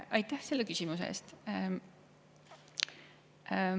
Aitäh selle küsimuse eest!